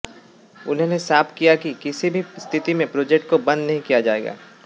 उन्होंने साफ किया कि किसी भी स्थिति में प्रोजेक्ट को बंद नहीं किया जाएगा